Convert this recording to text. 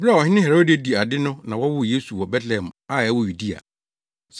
Bere a Ɔhene Herode di ade no na wɔwoo Yesu wɔ Betlehem a ɛwɔ Yudea.